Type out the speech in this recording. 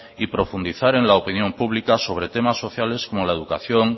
y profundizar en la opinión pública sobre temas sociales como la educación